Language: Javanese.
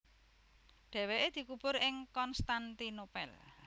Dhèwèké dikubur ing Konstantinopel